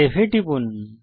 save এ টিপুন